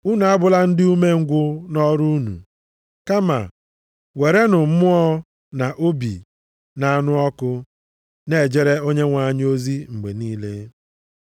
Unu abụla ndị umengwụ nʼọrụ unu. Kama werenụ mmụọ na obi na-anụ ọkụ na-ejere Onyenwe anyị ozi mgbe niile.